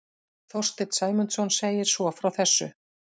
Þorsteinn Sæmundsson segir svo frá þessu: